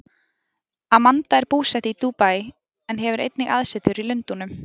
Amanda er búsett í Dúbaí en hefur einnig aðsetur í Lundúnum.